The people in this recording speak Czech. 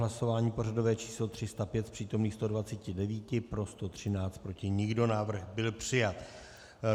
Hlasování pořadové číslo 305, z přítomných 129 pro 113, proti nikdo, návrh byl přijat.